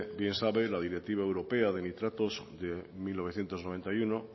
bien sabe la directiva europea de nitratos de mil novecientos noventa y uno